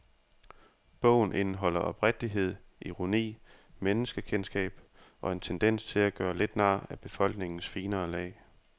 Bogen indeholder oprigtighed, ironi, menneskekendskab og en tendens til at gøre lidt nar af befolkningens finere lag.